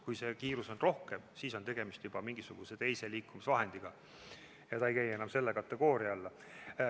Kui see kiirus on suurem, siis on tegemist juba mingisuguse teise liikumisvahendiga ja ta ei käi enam selle kategooria alla.